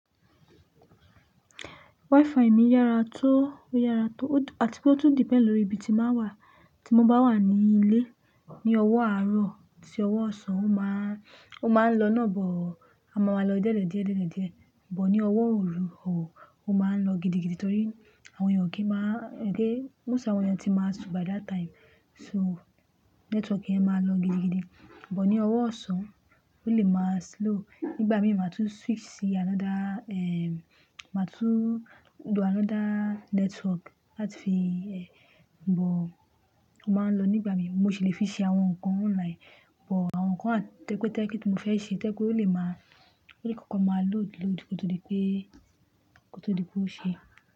Wi-Fi mi yára tó, ó yára tó. Àti pé ó tún depend lórí ibi tí bàá wà. Tí mo bá wà ní ilé ní ọwọ́ àárọ̀ àti ọwọ́ ọ̀sán, ó máa ń lọ náà bọ̀, a máa ma lọ díẹ̀lẹ̀ díẹ̀, díẹ̀lẹ̀ díẹ̀. Bọ̀ ní ọwọ́ ooru, òh, ó máa ń lọ gidigidi torí àwọn ènìyàn kì í máa-- gé, móst àwọn ènìyàn tí máa su by that time. So, network yẹn máa lọ gidigidi. Bọ̀ ní ọwọ́ ọ̀sán, ó lè máa slow. Nígbà mí máa tún switch sí another, eh, máa tún lo another network láti fi, eh, bọ̀ ó máa ń lọ nígbà mí. Mo sì le fi ṣe àwọn nǹkan online. Bọ̀ àwọn nǹkan àti pé tẹ́ẹ́kí tí mo fẹ́ ṣe tẹ́kọ̀ọ́ ó lè máa-- orí kankan máa load load kótó dipé, kótó dipé ó ṣe.